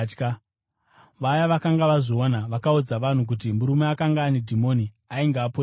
Vaya vakanga vazviona vakaudza vanhu kuti murume akanga ane dhimoni ainge aporeswa sei.